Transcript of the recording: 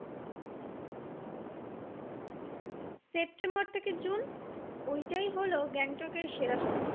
September থেকে June ওইটাই হোলো গ্যাংটকের সেরা সময়